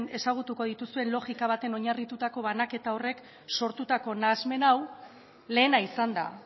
ezagutuko dituzuen logika batean oinarritutako banaketa horrek sortutako nahasmen hau lehena izan da